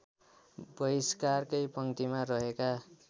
बहिष्कारकै पङ्क्तिमा रहेका